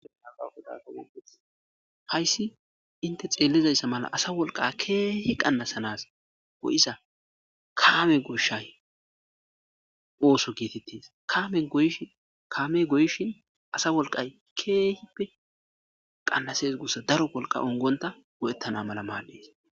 Hayssi inte xeellizayssa mala asa wolqa keehi qannasanas go'iza kaame gooshshay oosoy giitettes kaames kaamey goyishin asa wolqqay keehippe qannases guussa daro wolqqa ongonta go'ettana mala maaddes